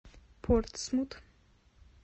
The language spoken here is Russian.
портсмут